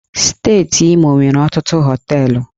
Steeti Imo nwere ọtụtụ hóteélụ̀